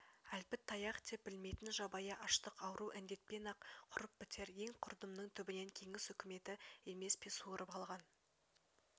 әлпіт таяқ деп білмейтн жабайы аштық ауру-індетпен-ақ құрып бітер ең құрдымның түбінен кеңес үкіметі емес пе суырып алған